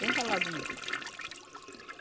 Bem ralado mesmo.